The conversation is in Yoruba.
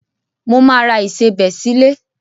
Mo máa ra ìsebẹ̀ sílé.